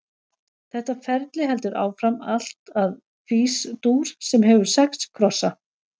Þetta ferli heldur áfram allt að Fís-dúr, sem hefur sex krossa.